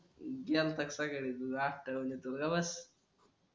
गेल्ता का सकाळी तू तुला अत्ठावन तू ग बस